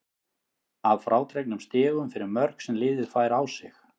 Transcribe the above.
Að frádregnum stigum fyrir mörk sem liðið fær á sig.